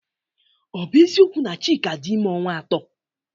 Ọ bụ eziokwu na Chika dị ime ọnwa ato?